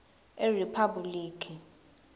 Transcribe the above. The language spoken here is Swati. eriphabhulikhi